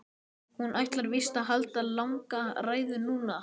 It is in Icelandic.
Hún ætlar víst að halda langa ræðu núna.